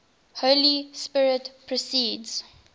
holy spirit proceeds